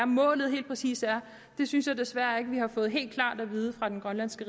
målet helt præcis er synes jeg desværre ikke at vi har fået helt klart at vide fra den grønlandske